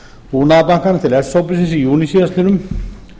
búnaðarbankanum til s hópsins í júní síðastliðnum